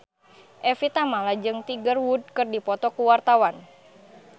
Evie Tamala jeung Tiger Wood keur dipoto ku wartawan